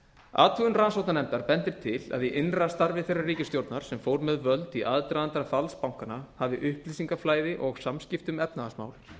athugun rannsóknarnefndar bendir til að í innra starfi þeirrar ríkisstjórnar sem fór með völd í aðdraganda falls bankanna hafi upplýsingaflæði og samskipti um efnahagsmál